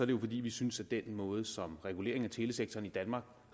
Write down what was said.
det jo fordi vi synes at kigge den måde som regulering af telesektoren i danmark